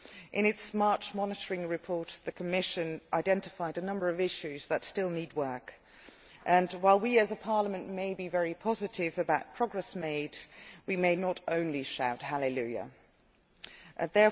In its March monitoring report the Commission identified a number of issues that still need work and, while we as a Parliament may be very positive about progress made, we should not shout Hallelujah' just yet.